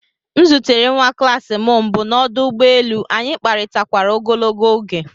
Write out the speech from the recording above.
M zutere nwa klas m mbụ n'ọdụ ụgbọ elu, anyị kparịtakwara ogologo oge